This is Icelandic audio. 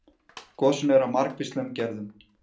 Gosin eru af margvíslegum gerðum.